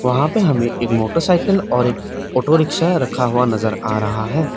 वहां पर हमें एक मोटरसाइकिल और एक ऑटो रिक्शा रखा हुआ नजर आ रहा है।